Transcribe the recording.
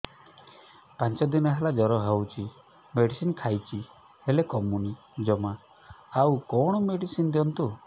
ପାଞ୍ଚ ଦିନ ହେଲା ଜର ହଉଛି ମେଡିସିନ ଖାଇଛି ହେଲେ କମୁନି ଜମା ଆଉ କଣ ମେଡ଼ିସିନ ଦିଅନ୍ତୁ